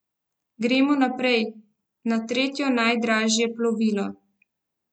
Gremo naprej, na tretjo najdražje plovilo.